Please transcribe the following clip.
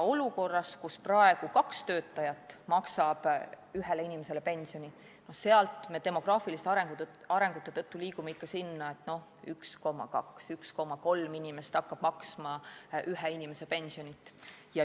Olukorrast, kus kaks töötajat maksab ühele inimesele pensioni, liigume me demograafiliste arengute tõttu selle poole, et 1,2 või 1,3 inimest hakkab maksma ühe inimese pensioni.